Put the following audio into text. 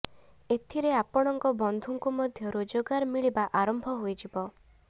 ଏଥିରେ ଆପଣଙ୍କ ବନ୍ଧୁଙ୍କୁ ମଧ୍ୟ ରୋଜଗାର ମିଳିବା ଆରମ୍ଭ ହୋଇଯିବ